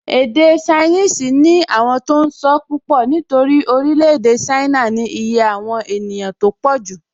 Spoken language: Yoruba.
Èdè ṣainíìsì ní àwọn tó n sọ́ púpọ̀ nítorí orílẹ̀-èdè ṣáínà ní iye àwọn ènìyàn tó pọ̀jù